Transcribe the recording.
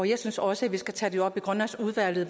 jeg synes også at vi skal tage det op i grønlandsudvalget